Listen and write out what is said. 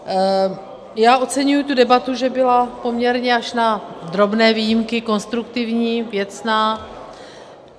Já oceňuji tu debatu, že byla poměrně, až na drobné výjimky, konstruktivní, věcná.